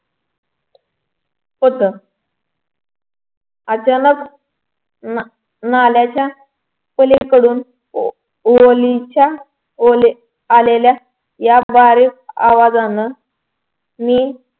होत अचानक नाल्याच्या पलीकडून ओलेच्या ओले आलेल्या या बारीक आवाजानं मी